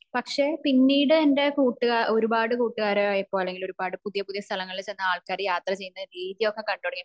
പക്ഷെ പിന്നീട് എന്റെ കൂട്ടുക ഒരുപാട് കൂട്ടുകാരായപ്പോ അല്ലെങ്കിൽ ഒരുപാട് പുതിയ പുതിയ സ്ഥലങ്ങളിൽ ചെന്ന് ആൾകാർ യാത്ര ചെയ്യുന്ന രീതിയൊക്കെ കണ്ടു തുടങ്ങിയപ്പോ